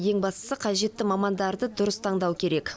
ең бастысы қажетті мамандарды дұрыс таңдау керек